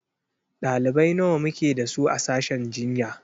Ɗalibai nawa muke da su a sashen jinya?